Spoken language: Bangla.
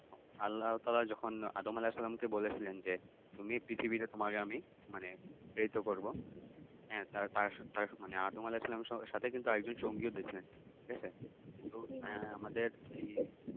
আল্লাহতাআলা যখন আদম আলাহিসাল্লামকে বলেছিলেন যে তুমি পৃথিবী তোমাকে আমি মানে প্রেরিত করবো হ্যাঁ তার তার সাথে মানে আদম আলাহিসাল্লাম এর সাথে কিন্তু আর একজন সঙ্গিও দিছেলেন ঠিক আছে কিন্তু আমাদের